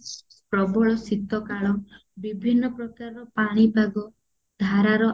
ପ୍ରବଳ ଶୀତ କାଳ ବିଭିନ୍ନ ପ୍ରକାର ପାଣିପାଗ ଧାରାର